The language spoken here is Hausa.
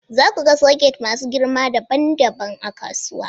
Za ku ga soket masu girma dabam dabam a kasuwa